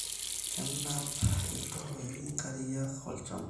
Kenap iltoiii nkariak olchamba